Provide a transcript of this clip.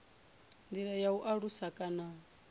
ndi ya u alusa kana